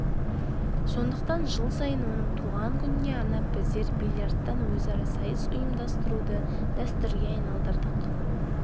сондықтан жыл сайын оның туған күніне арнап біздер бильярдтан өзара сайыс ұйымдастыруды дәстүрге айналдырдық